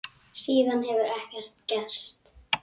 Síðan hefur ekkert gerst.